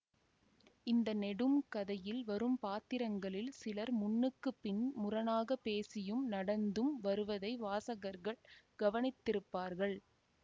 இந்த நெடும் கதையில் வரும் பாத்திரங்களில் சிலர் முன்னுக்குப் பின் முரணாகப் பேசியும் நடந்தும் வருவதை வாசகர்கள் கவனித்திருப்பார்கள்